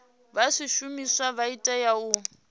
vha zwishumiswa vha tea u